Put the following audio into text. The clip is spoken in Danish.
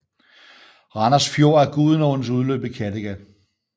Randers Fjord er Gudenåens udløb i Kattegat